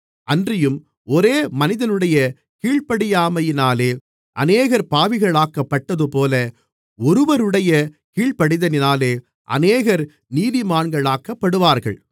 அன்றியும் ஒரே மனிதனுடைய கீழ்ப்படியாமையினாலே அநேகர் பாவிகளாக்கப்பட்டதுபோல ஒருவருடைய கீழ்ப்படிதலினாலே அநேகர் நீதிமான்களாக்கப்படுவார்கள்